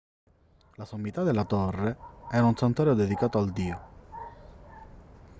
la sommità della torre era un santuario dedicato al dio